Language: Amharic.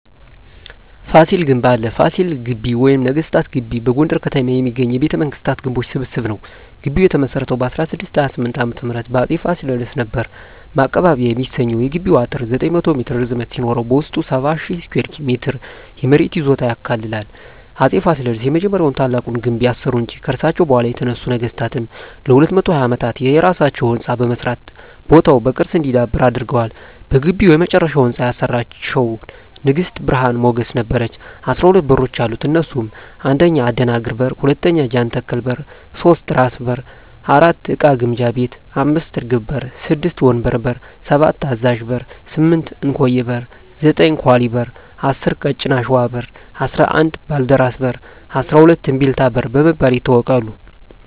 ፋሲል ግንብ አለ ፋሲል ግቢ ወይም ነገስታት ግቢ በጎንደር ከተማ የሚገኝ የቤተ መንግስታት ግንቦች ስብስብ ነዉ ግቢዉ የተመሰረተዉ በ1628ዓ.ም በአፄ ፋሲለደስ ነበር ማቀባበያ የሚሰኘዉ የግቢዉ አጥር 900ሜትር ርዝመት ሲኖረዉበዉስጡ 70,000ስኩየር ሜትር የመሬት ይዞታ ያካልላል አፄ ፋሲለደስ የመጀመሪያዉና ታላቁን ግንብ ያሰሩ እንጂ ከርሳቸዉ በኋላ የተነሱ ነገስታትም ለ220ዓመታት የየራሳቸዉ ህንፃ በመስራት ቦታዉ በቅርስ እንዲዳብር አድርገዋል በግቢዉ የመጨረሻዉን ህንፃ ያሰራቸዉን ንግስት ብርሀን ሞገስ ነበረች 12በሮች አሉት እነሱም 1. አደናግር በር 2. ጃንተከል በር 3. ራስ በር 4. እቃ ግምጃ ቤት 5. እርግብ በር 6. ወንበር በር 7. አዛዥ በር 8. እንኮዬ በር 9. ኳሊ በር 10. ቀጭን አሽዋ በር 11. ባልደራስ በር 12. እምቢልታ በር በመባል ይታወቃሉ